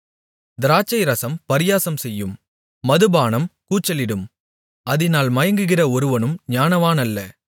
திராட்சைரசம் பரியாசம்செய்யும் மதுபானம் கூச்சலிடும் அதினால் மயங்குகிற ஒருவனும் ஞானவானல்ல